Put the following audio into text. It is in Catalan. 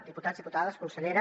diputats diputades consellera